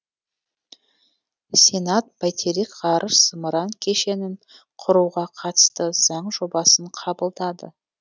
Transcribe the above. сенат бәйтерек ғарыш зымыран кешенін құруға қатысты заң жобасын қабылдады